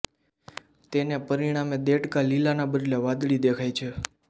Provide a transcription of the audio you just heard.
તેને પરિણામે દેડકાં લીલાના બદલે વાદળી દેખાય છે